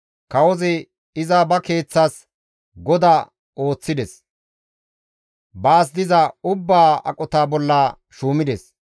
Kawozi iza ba keeththas goda ooththides; baas diza ubbaa aqota bolla shuumides.